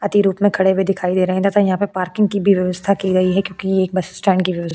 अति रूप में खड़े हुए दिखाई दे रहे है तथा यहाँ पे पार्किंग की व्यवस्था की गई है क्योकि ये बस स्टैंड की --